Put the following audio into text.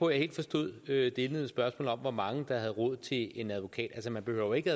helt forstod det indledende spørgsmål om hvor mange der havde råd til en advokat altså man behøver ikke